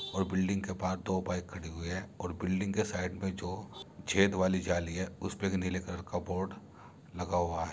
और बिल्डिंग के बाहर दो बाइक खड़ी हुई है और बिल्डिंग के साइड में जो छेद वाली जाली है उसपे भी नीले कलर का बोर्ड लगा हुआ है।